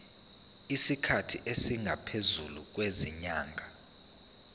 isikhathi esingaphezulu kwezinyanga